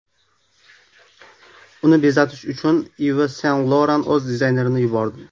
Uni bezatish uchun Iv Sen-Loran o‘z dizaynerini yubordi.